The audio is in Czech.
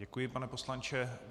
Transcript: Děkuji, pane poslanče.